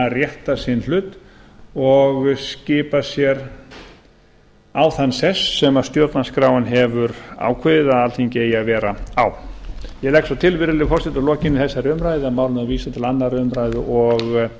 rétta sinn hlut og skipa sér á þann sess sem stjórnarskráin hefur ákveðið að alþingi eigi að vera á ég legg svo til virðulegi forseti að að lokinni þessari umræðu verði málinu vísað til annarrar umræðu og